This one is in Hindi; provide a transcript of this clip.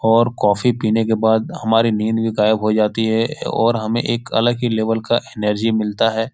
और कॉफी पीने के बाद हमारी नींद भी गायब हो जाती है और हमें एक अलग ही लेवल का एनर्जी मिलता है।